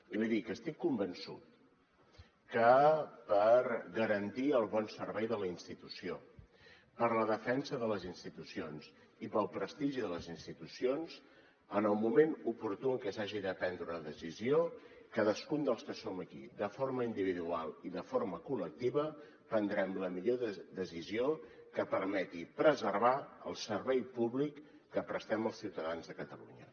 i li dic estic convençut que per garantir el bon servei de la institució per la defensa de les institucions i pel prestigi de les institucions en el moment oportú en què s’hagi de prendre una decisió cadascun dels que som aquí de forma individual i de forma col·lectiva prendrem la millor decisió que permeti preservar el servei públic que prestem els ciutadans de catalunya